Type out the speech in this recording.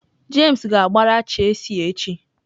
James ga-agbara Chealsea echi.